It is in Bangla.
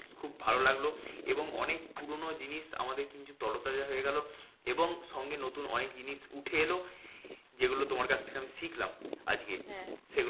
খুব ভালো লাগলো এবং অনেক পুরোনো জিনিস আমাদের কিন্তু তরোতাজা হয়ে গেলো এবং সঙ্গে নতুন জিনিস উঠে এলো। যেগুলো তোমার কাছ থেকে আমি শিখলাম আজকে।